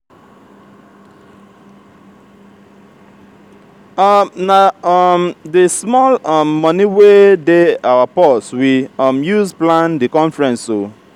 na um di small um moni wey dey our purse we um use plan di conference o.